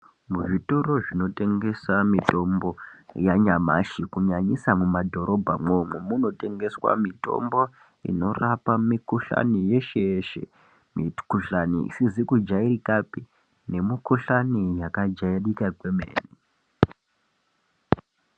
Muzvitoro zvinotengesa mitombo yanyamashi kunyanyisa mumadhorobha imwomo munotengeswa mitombo inorapa mikhuhlani yeshe yeshe, mikhuhlani isizi kujairika phe neyakajairika kwemene.